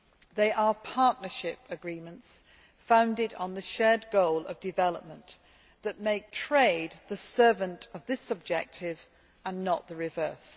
They are partnership agreements founded on the shared goal of development that make trade the servant of this objective and not the reverse.